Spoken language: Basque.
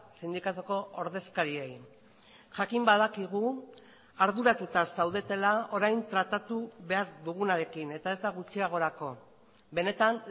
sindikatuko ordezkariei jakin badakigu arduratuta zaudetela orain tratatu behar dugunarekin eta ez da gutxiagorako benetan